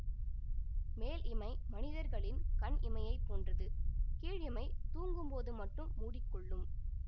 மேல் இமை மனிதர்களின் கண் இமையைப் போன்றது கீழ் இமை தூங்கும் போது மட்டும் மூடி கொள்ளும்